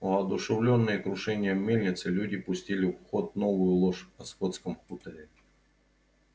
воодушевлённые крушением мельницы люди пустили в ход новую ложь о скотском хуторе